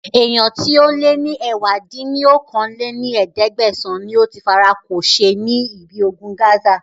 Èèyàn tíì ó lè ní ẹ̀wá dín ní okòó-lé-ní-ẹ̀ẹ́dẹ́gbẹ́sán níí óti fara kò ṣe ní ibi ogun Gaza